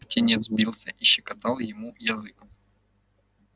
птенец бился и щекотал ему язык